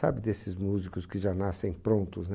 Sabe desses músicos que já nascem prontos, né?